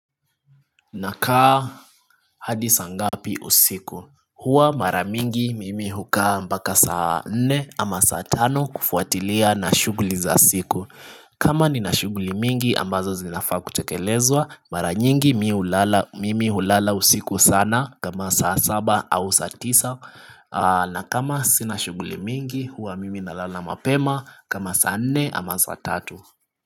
Nakaa hadi saa ngapi usiku Huwa mara mingi mimi hukaa mpaka saa nne ama saa tano kufuatilia na shuguli za siku kama nina shuguli mingi ambazo zinafaa kutekelezwa mara nyingi mimi hulala usiku sana kama saa saba au saa tisa na kama sina shuguli mingi huwa mimi nalala mapema kama saa nne ama saa tatu.